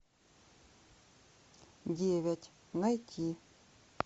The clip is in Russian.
девять найти